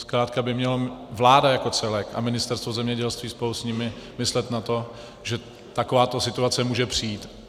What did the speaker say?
Zkrátka by měla vláda jako celek a Ministerstvo zemědělství spolu s ní myslet na to, že takováto situace může přijít.